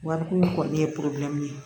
Wariko kɔni ye ye